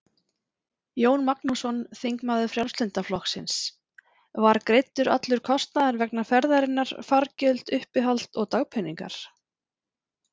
Jón Magnússon, þingmaður Frjálslynda flokksins: Var greiddur allur kostnaður vegna ferðarinnar, fargjöld, uppihald og dagpeningar?